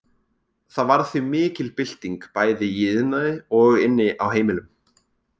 Það varð því mikil bylting bæði í iðnaði og inni á heimilum.